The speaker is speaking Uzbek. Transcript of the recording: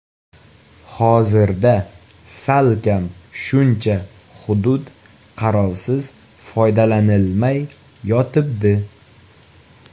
Hozirda salkam shuncha hudud qarovsiz, foydalanilmay yotibdi.